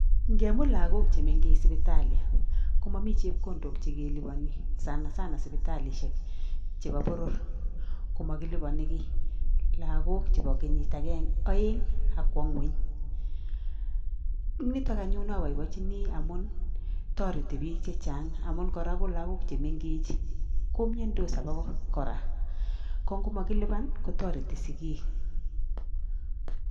Ngemut lakok chemengechen sibitali komamii chepkondok chekelolubani sanasana sibitali chebo serikalishek chebo boror komakilubani ki lagok chebo kenyit agenge ,aeng Akwa ngweny niton anyun abaibaenjin amun tareti bik chechang amun koraa kolagok chemengechen komiandos akobo koraa kongomakiluban kotareti sigik